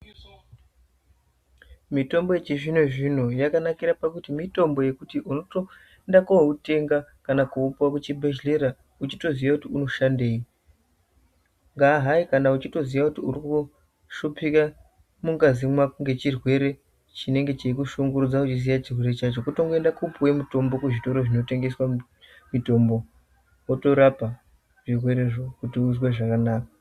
Mitombo yechizvino-zvino yakanakira pakuti mitombo unotoenda koitenga kana koupuva kuchibhedhlera. Uchitoziya kuti unoshandei ngaa hai kana uchitoziya kuti uri kuhlupika mungazi mako ngechirwere chinenge cheikushungurudza uiziya chirwere chacho. Kutongoenda kopuve mutombo kuzvitoro zvinotengeswa mitombo, otorapa zvirwerezvo kuti uzwe zvakanaka.